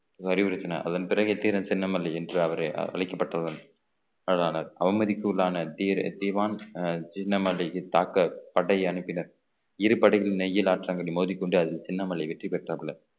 அறிவுறுத்தினார் அதன் பிறகு தீரன் சின்னமலை என்று அவர் அழைக்கப்பட்டதுடன் அதானா அவமதிப்பு உள்ளான தீர~ சின்னமலைக்கு தாக்க படை அனுப்பினர் இரு படகிலும் நெய்யில் ஆற்றங்கரை மோதிக்கொண்டு அதில் சின்னமலை வெற்றி பெற்றாப்ல